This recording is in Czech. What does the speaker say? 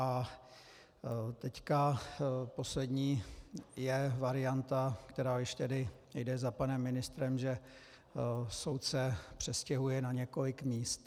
A teď poslední je varianta, která již tedy jde za panem ministrem, že soud se přestěhuje na několik míst.